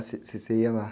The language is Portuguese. Ah, você, você ia lá?